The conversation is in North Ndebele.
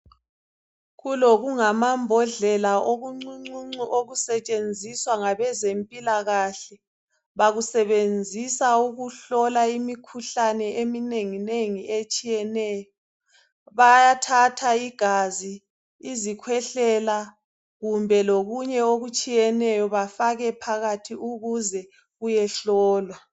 Kulokungama mbodlela okuncuncuncu okusetshenziswa ngabezempilakahle. Bakusebenzisa ukuhlola imikhuhlane eminenginengi etshiyeneyo. Bayathatha igazi, izikhwehlela kumbe lokunye okutshiyeneyo bafake phakathi ukuze kuyehlolwa.